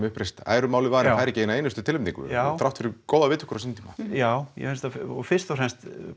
uppreist æru málinu fær ekki eina einustu tilnefningu þrátt fyrir góðar viðtökur á sínum tíma já og fyrst og fremst